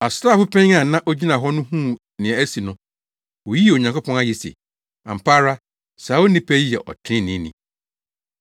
Asraafo panyin a na ogyina hɔ no huu nea asi no, oyii Onyankopɔn ayɛ se, “Ampa ara, saa onipa yi yɛ ɔtreneeni.”